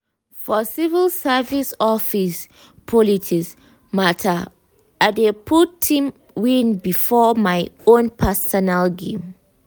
for civil service office politics matter i dey put team win before my own personal gain.